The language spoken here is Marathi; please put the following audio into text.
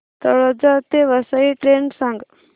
तळोजा ते वसई ट्रेन सांग